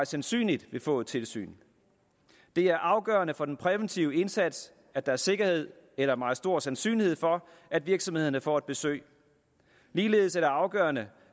sandsynlighed få et tilsyn det er afgørende for den præventive indsats at der er sikkerhed eller meget stor sandsynlighed for at virksomhederne får et besøg ligeledes er det afgørende